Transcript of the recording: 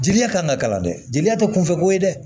Jeliya ka na kalan dɛ jeli tɛ kunfɛ ko ye dɛ